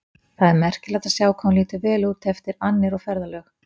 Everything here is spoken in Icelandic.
Það er merkilegt að sjá hvað hún lítur vel út eftir annir og ferðalög.